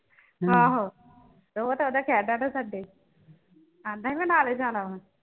ਆਹੋ ਉਹ ਤਾਂ ਉਦਣ ਕਹਿ ਦੀਆ ਨਾ ਸਾਡੇ ਸਾਡੇ ਆਂਦਾ ਹੀ ਮੈਂ ਨਾਲੇ ਜਾਣਾ ਵਾ